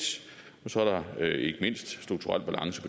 og så er der ikke mindst strukturel balance